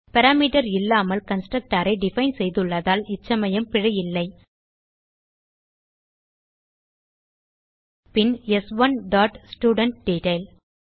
parameter இல்லாமல் constructorஐ define செய்துள்ளதால் இச்சமயம் பிழை இல்லை பின் ஸ்1 டாட் ஸ்டூடன்ட்டெட்டைல்